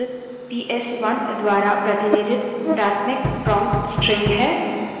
यह environment variable PS one द्वारा प्रतिनिधित प्राथमिक prompt string है